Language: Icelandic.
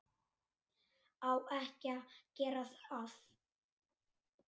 Á ekki að gera það.